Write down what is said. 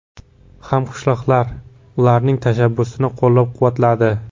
Hamqishloqlar ularning tashabbusini qo‘llab-quvvatladi.